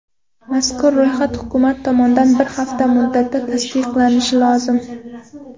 Mazkur ro‘yxat hukumat tomonidan bir hafta muddatda tasdiqlanishi lozim.